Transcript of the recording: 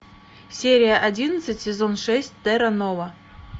серия одиннадцать сезон шесть терра нова